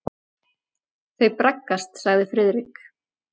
Þau braggast sagði Friðrik.